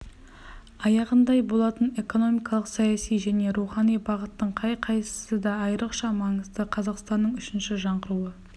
аяғындай болатын экономикалық саяси және рухани бағыттың қай қайсысы да айрықша маңызды қазақстанның үшінші жаңғыруы